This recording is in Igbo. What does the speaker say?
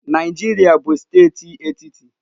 Naijiria bụ steeti etiti.